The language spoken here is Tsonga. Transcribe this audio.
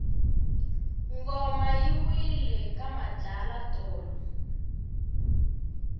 ngoma yi wile ka madlala tolo